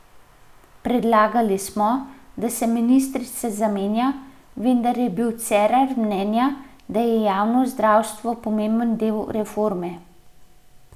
Predlagali smo, da se ministrica zamenja, vendar je bil Cerar mnenja, da je javno zdravstvo pomemben del reforme.